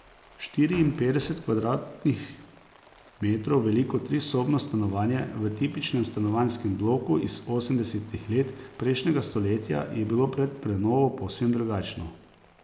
Štiriinpetdeset kvadratnih metrov veliko trisobno stanovanje v tipičnem stanovanjskem bloku iz osemdesetih let prejšnjega stoletja je bilo pred prenovo povsem drugačno.